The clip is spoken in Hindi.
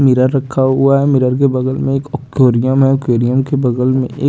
मीरर रखा हुआ है मीरर के बगल में एक अक्टोरियम है ओकरियम के बगम में एक --